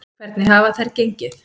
Hvernig hafa þær gengið?